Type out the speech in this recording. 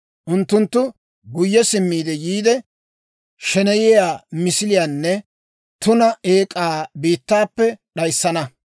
«Unttunttu guyye simmiide yiide, sheneyiyaa misiliyaanne tuna eek'aa biittaappe d'ayissana.